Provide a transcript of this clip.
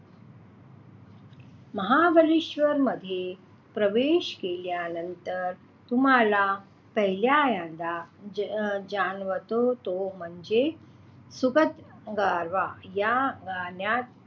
महाबळेश्वरमध्ये प्रवेश केल्यानंतर तुम्हाला पहिल्यांदा अं जाणवतो तो म्हणजे सुखद गारवा या गारव्यात,